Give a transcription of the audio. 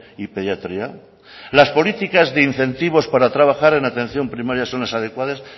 y pediatría las políticas de incentivos para trabajar en atención primaria son las adecuadas